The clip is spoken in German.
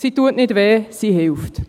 Sie tut nicht weh, sie hilft.